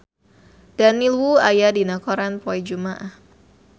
Daniel Wu aya dina koran poe Jumaah